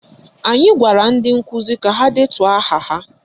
Anyị gwara ndị nkụzi ka ha detuo aha ha